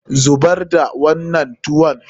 Zubar da wannan tuwon!